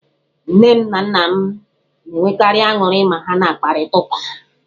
Nne m na nna m na-enwekarị aṅụrị ma ha kparịtawa ụka.